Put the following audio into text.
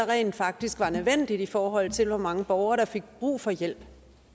rent faktisk var nødvendigt i forhold til hvor mange borgere der fik brug for hjælp